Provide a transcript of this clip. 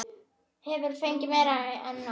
Hefur fengið meira en nóg.